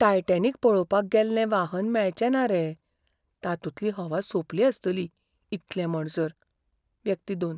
Titanic पळोवपाक गेल्लें वाहन मेळचे ना रे, तातूंतली हवा सोंपली आसतली इतले म्हणसर. व्यक्ती दोन